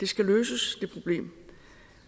skal løses